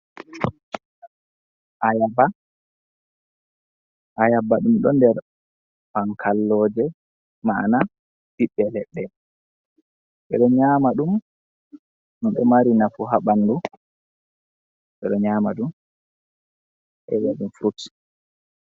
Ayaba, Ayaba ɗum do nɗer han kalloje, ma'ana ɓiɓɓe leɗɗe ɓeɗo nyama ɗum, ɗum ɗo mari nafu ha bandu, ɓeɗo nyama ɗum, ɓeɗo vi'a ɗum furuts.